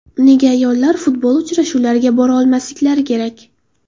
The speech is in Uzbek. Nega ayollar futbol uchrashuvlariga bora olmasliklari kerak?